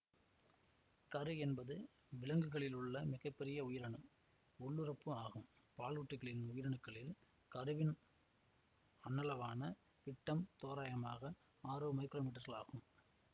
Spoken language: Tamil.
கரு என்பது விலங்குகளிலுள்ள மிக பெரிய உயிரணு உள்ளுறுப்பு ஆகும் பாலூட்டிகளின் உயிரணுக்களில் கருவின் அண்ணளவான விட்டம் தோராயமாக ஆறு மைக்ரோமீட்டர்கள் ஆகும்